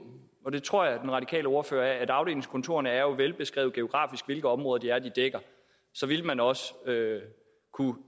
og det tror jeg at den radikale ordfører er at afdelingskontorerne er velbeskrevet geografiske område de dækker så ville man også